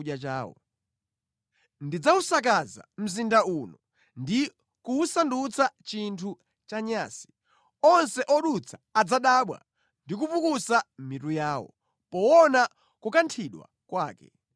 Mzinda uno ndidzawusakaza ndi kuwusandutsa chinthu chochititsa mantha ndi chonyansa. Onse odutsamo adzadabwa ndi kupukusa mitu yawo chifukwa cha kuwonongeka kwake.